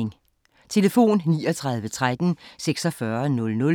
Telefon: 39 13 46 00